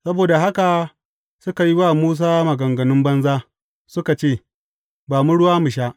Saboda haka suka yi wa Musa maganganun banza suka ce, Ba mu ruwa mu sha.